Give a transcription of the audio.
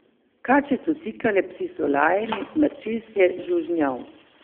Kače so sikale, psi so lajali, mrčes je žužnjal.